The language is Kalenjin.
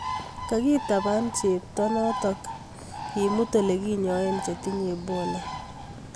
Kogitaban cheptoo notokak kimut ole kinyae che tinye Ebola